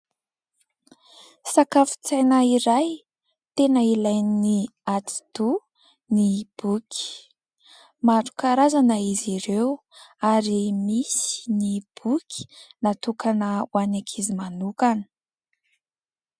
Sakafon-tsaina iray tena ilainy atidoha ny boky, maro karazana izy ireo ary misy ny boky natokana ho an'ny ankizy manokana.